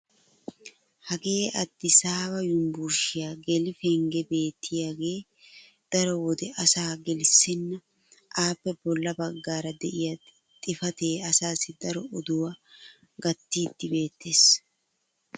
hagee addisaaba yunbburshshiya geli penggee beettiyaagee daro wode asaa gelissenna. appe bola bagaara diya xifatee asaassi daro odduwaa gatiidi beetees.